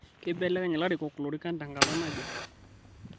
Keibelekeny larikok lorikani tenkata naje